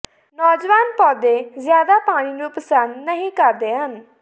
ਨੌਜਵਾਨ ਪੌਦੇ ਜ਼ਿਆਦਾ ਪਾਣੀ ਨੂੰ ਪਸੰਦ ਨਹੀਂ ਕਰਦੇ ਹਨ